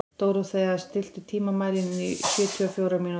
Dórothea, stilltu tímamælinn á sjötíu og fjórar mínútur.